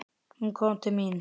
Hún kom til mín.